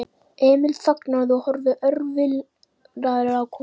Emil þagnaði og horfði örvilnaður á konuna.